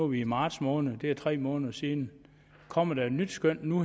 vi i marts måned det er tre måneder siden kommer der et nyt skøn nu